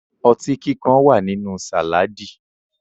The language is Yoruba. Ọtí kíkan wà nínú sàládì